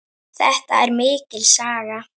Þetta er mikil saga!